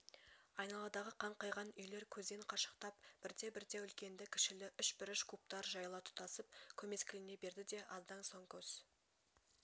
айналадағы қаңқайған үйлер көзден қашықтап бірте-бірте үлкенді-кішілі үшбұрыш кубтар жайыла тұтасып көмескілене берді де аздан соң көз